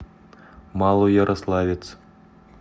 малоярославец